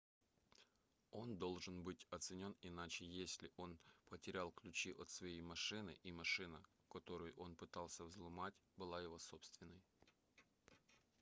он должен быть оценен иначе если он потерял ключи от своей машины и машина которую он пытался взломать была его собственной